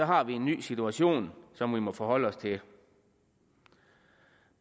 har vi en ny situation som vi må forholde os til